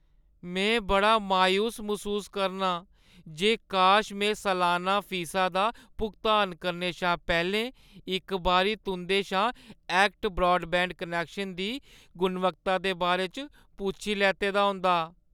में बड़ा मायूस मसूस करनां जे काश में सलाना फीसा दा भुगतान करने शा पैह्‌लें इक बारी तुंʼदे शा ऐक्ट ब्रॉडबैंड कनैक्शन दी गुणवत्ता दे बारे च पुच्छी लैते दा होंदा।